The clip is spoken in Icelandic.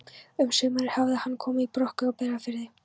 Um sumarið hafði hann komið í Brokey á Breiðafirði.